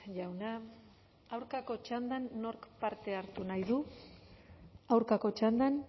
jauna aurkako txandan nork parte hartu nahi du aurkako txandan